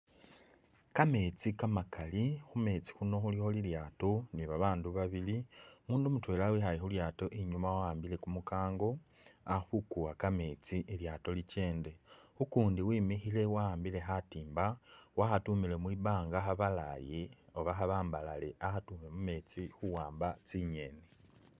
Kametsi kamakali , khumetsi khuno khulikho lilyato ni babandu babili, umundu mutwela ikhaye khulyato inyuma awambile kumukango akhukuwa kametsi ilyato likyende ukundi wemikhile wa’ambile khatimba wakhatumile mwibanga khabalaye Oba khabambalale akhatume mumetse khuwamba tsinyeni .